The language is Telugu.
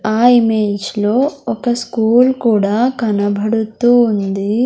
ఆ ఇమేజ్ లో ఒక స్కూల్ కూడా కనబడుతూ ఉంది.